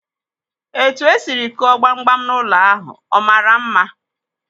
Etu e sịrị kụọ gbam gbam n'ụlọ ahụ, ọ maara mma?